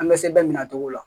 An bɛ sɛbɛn minɛ o cogo la